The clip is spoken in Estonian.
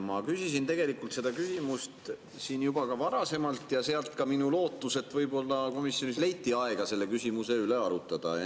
Ma küsisin selle küsimuse siin juba ka varasemalt ja sealt ka minu lootus, et võib-olla komisjonis leiti aega selle küsimuse üle arutada.